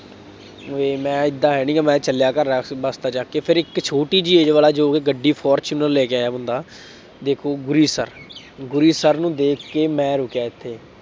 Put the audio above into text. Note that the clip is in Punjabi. ਵੇਖ ਮੈਂ ਏਦਾਂ ਹੈ ਨਹੀਂ ਗਾ, ਮੈਂ ਚੱਲਿਆਂ ਘਰ ਆ ਕੇ ਬਸਤਾ ਚੱਕ ਕੇ, ਫਿਰ ਇਕ ਛੋਟੀ ਜਿਹੀ age ਵਾਲਾ ਜੋ ਕਿ ਗੱਡੀ ਫਾਰਚੂਨਰ ਲੈ ਕੇ ਆਇਆ ਬੰਦਾ, ਦੇਖੋ ਗੁਰੀ sir, ਗੁਰੀ sir ਨੂੰ ਦੇਖ ਕੇ ਮੈਂ ਰੁਕਿਆ ਇੱਥੇ,